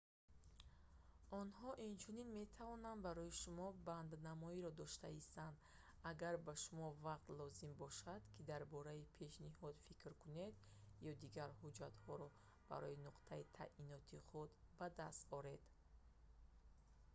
онҳо инчунин метавонанд барои шумо банднамоиро дошта истанд агар ба шумо вақт лозим бошад ки дар бораи пешниҳод фикр кунед ё дигар ҳуҷҷатҳоро масалан раводид барои нуқтаи таъиноти худ ба даст оред